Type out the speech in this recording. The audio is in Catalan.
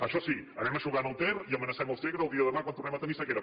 això sí anem eixugant el ter i amenacem el segre el dia de demà quan tornem a tenir sequera